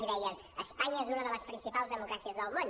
i deia espanya és una de les principals democràcies del món